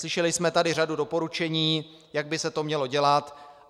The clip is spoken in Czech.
Slyšeli jsme tu řadu doporučení, jak by se to mělo dělat.